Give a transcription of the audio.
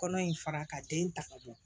Kɔnɔ in fara ka den ta ka bɔ